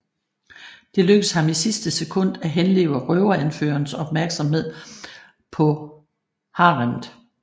Det lykkes ham i sidste sekund at henlede røveranførerens opmærksomhed på haremmet